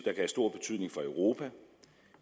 have stor betydning for europa